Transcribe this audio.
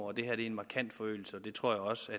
og det her er en markant forøgelse det tror jeg også at